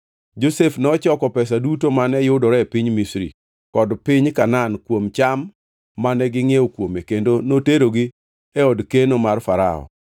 Josef nochoko pesa duto mane yudore e piny Misri kod piny Kanaan kuom cham mane gingʼiewo kuome kendo noterogi e od keno mar Farao.